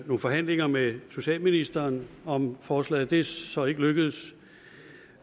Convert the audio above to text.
nogle forhandlinger med socialministeren om forslaget det er så ikke lykkedes